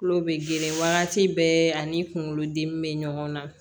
Tulo bɛ geren wagati bɛɛ ani kunkolodimi bɛ ɲɔgɔn na